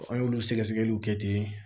An y'olu sɛgɛ sɛgɛliw kɛ ten